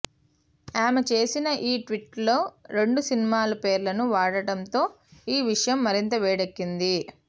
ఆమె చేసిన ఈ ట్వీట్లో రెండు సినిమా పేర్లను వాడటంతో ఈ విషయం మరింత వేడెక్కింది